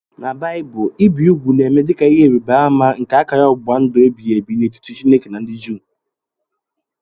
N' baaibul ibi ụgwụ na-eme dika ihe ịrịba ama nke akara ọgbụgba ndụ ebighị ebi n'etiti chineke na ndị Jew.